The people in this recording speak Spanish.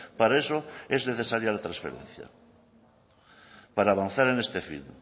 para eso es necesaria la transferencia para avanzar en este fin